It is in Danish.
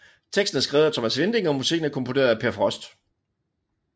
Teksten er skrevet af Thomas Winding og musikken er komponeret af Peer Frost